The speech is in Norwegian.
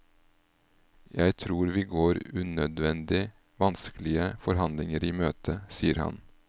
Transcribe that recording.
Jeg tror vi går unødvendig vanskelige forhandlinger i møte, sier han.